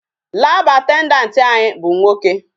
Lab attendant anyị bụ nwoke.